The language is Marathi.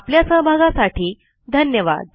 आपल्या सहभागासाठी धन्यवाद